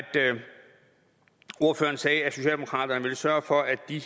ordføreren sagde at socialdemokratiet ville sørge for at de